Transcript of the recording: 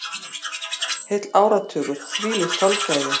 Heill áratugur, hvílíkt þolgæði.